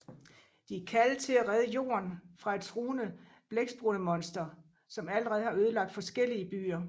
De er kaldet til at redde Jorden fra et truende blækspruttemonster som allerede har ødelagt forskellige byer